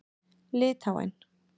Litháen